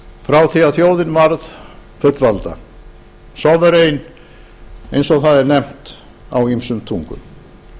frá því að þjóðin varð fullvalda sovereign eins og það er nefnt á ýmsum tungum